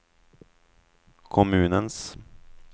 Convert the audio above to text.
kommunens